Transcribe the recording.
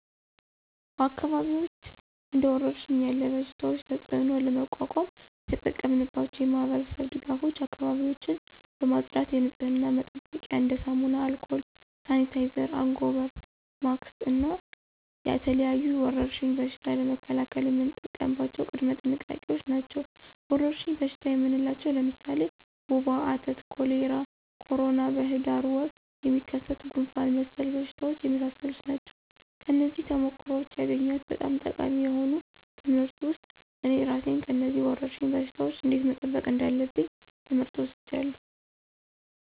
በአካባቢዎች እንደ ወረርሽኝ ያለ በሽታቸው ተፅእኖ ለመቋቋም የተጠቀምናቸው የማህበረሰብ ድጋፎች አካባቢዎችን በማፅዳት የንፅህና መጠበቂያ እንደ ሳሙና፣ አልኮል፣ ሳኒታይዘር፣ አንጎበር፣ ማክስ እና የተለያዩ የወረርሽኝ በሽታ ለመከላከል የምንጠቀምባቸው ቅድመ ጥንቃቄዎች ናቸው። ወረርሽኝ በሽታ የምንላቸው ለምሳሌ ወባ፣ አተት፣ ኮሌራ፣ ኮሮና፣ በሂዳር ወር የሚከሰት ጉንፍን መሰል በሽታዎች የመሳሰሉ ናቸው። ከነዚህም ተሞክሮዎች ያገኘሁት በጣም ጠቃሚ የሆኑ ትምህርት ውስጥ እኔ እራሴን ከነዚህ ወረርሽኝ በሽታወች እንዴት መጠበቅ እንዳለብኝ ትምህር ወስጃለሁ።